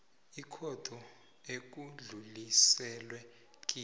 ikhotho ekudluliselwe kiyo